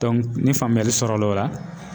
ni faamuyali sɔrɔla o la